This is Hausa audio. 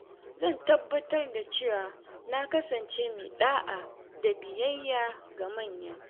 Zan tabbatar da cewa na kasance mai ɗa’a da biyayya ga manya.